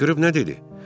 Qışqırıb nə dedi?